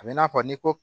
A bɛ i n'a fɔ ni ko